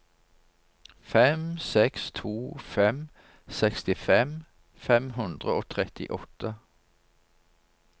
fem seks to fem sekstifem fem hundre og trettiåtte